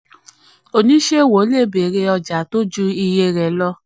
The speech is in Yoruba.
20. oníṣòwò le béèrè ọjà tó ju iye rẹ̀ lọ.